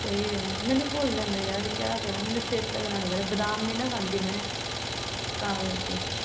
ਸਹੀ ਐ ਮੈਨੂੰ ਭੁੱਲ ਜਾਂਦਾ ਯਾਰ ਕਿਆ ਕਰਾਂ ਮੈਨੂੰ ਚੇਤੇ ਕਰਾਉਣਾ ਪੈਂਦਾ। ਬਾਦਾਮ ਨਈਂ ਨਾ ਖਾਂਦੀ ਮੈਂ। ਤਾਂ ਕਰਕੇ,